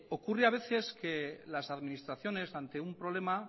ocurre a veces que las administraciones ante un problema